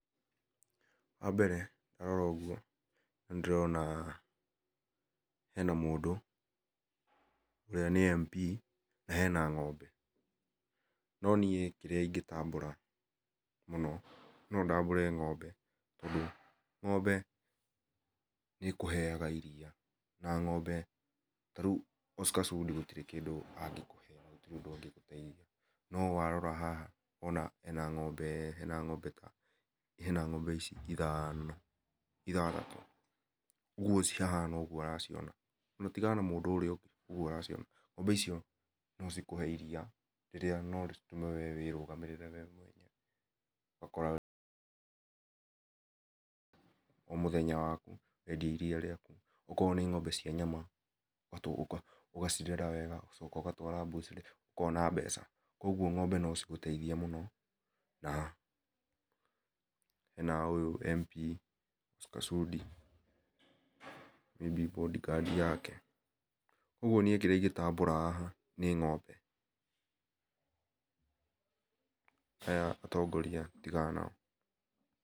Wambere ndarora ũgũo nĩ ndĩrona hena mũndũ ũrĩa nĩ MP na hena ng'ombe no niĩ kĩrĩa ingĩtambũra mũno nondambũre ng'ombe tondũ ng'ombe nĩĩkũheaga iria na ng'ombe na rĩũ Oscar Sudi gũtĩrĩ kĩndũ angĩkũhe na gũtĩrĩ ũndũ angĩgũteĩthĩa na warora haha wona hena ng'ombe hena ng'ombe ta hena ng'ombe ici ithano ithathatũ ũgũo cihana ũgũo ũraciona ng'ombe icio no cikũhe iria rĩrĩa no rĩtũme we wĩrũgamĩrĩre we mwene ũgakora o mũthenya wakũ wendia iria rĩakũ okorwo nĩ ng'ombe cia nyama ũgacirera wega ũgatwara mbũcĩrĩ ũkona mbeca ũgũo ng'ombe no cigũteithie mũno na ũyũ MP ta Sudi may be boardguard yake ũgũo nĩ ĩ kĩrĩa ingĩtambũra haha nĩ ng'ombe aya atongoria tĩga nao.